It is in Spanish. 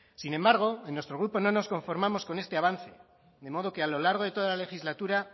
sin embargo en nuestro grupo no nos conformamos con este avance de modo que a lo largo de toda la legislatura